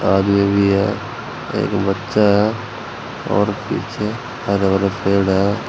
आदमी भी है। एक बच्चा है और पीछे हरे भरे पेड़ है।